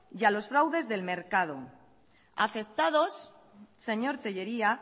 y a los fraudes del mercado afectados señor tellería